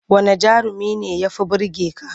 Wanne jarumi ne ya fi burge ka?